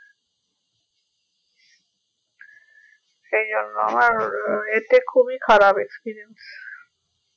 সেই জন্য আমার এতে খুবই খারাপ experience